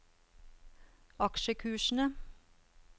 aksjekursene